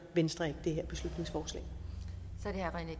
venstre ikke det